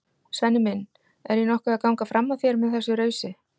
Svenni minn, er ég nokkuð að ganga fram af þér með þessu rausi?